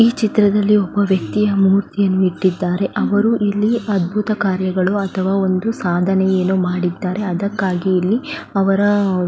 ಈ ಚಿತ್ರದಲ್ಲಿ ವ್ಯಕ್ತಿಯ ಮೂರ್ತಿಯನ್ನು ಇಟ್ಟಿದ್ದಾರೆ ಅವರು ಇಲ್ಲಿ ಅದ್ಬುತ ಕಾರ್ಯಗಳು ಅಥವಾ ಏನೋ ಸಾಧನೆ ಏನೋ ಮಾಡಿದ್ದಾರೆ ಅದಕ್ಕಾಗಿ ಇಲ್ಲಿ ಅವರ --